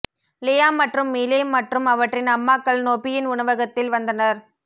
Liam மற்றும் Miley மற்றும் அவற்றின் அம்மாக்கள் நொபியின் உணவகத்தில் வந்தனர்